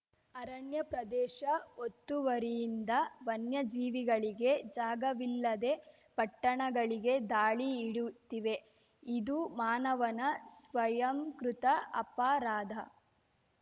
ಅರಣ್ಯ ಪ್ರದೇಶ ಒತ್ತುವರಿಯಿಂದ ವನ್ಯಜೀವಿಗಳಿಗೆ ಜಾಗವಿಲ್ಲದೆ ಪಟ್ಟಣಗಳಿಗೆ ದಾಳಿ ಇಡುತ್ತಿವೆ ಇದು ಮಾನವನ ಸ್ವಯಂಕೃತ ಅಪರಾಧ